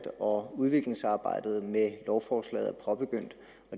og udviklingsarbejdet med lovforslaget er påbegyndt